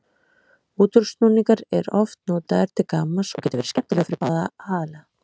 Útúrsnúningur er oft notaður til gamans og getur verið skemmtilegur fyrir báða aðila.